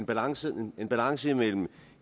balancer en balance mellem